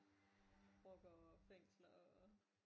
Rockere og fængsler og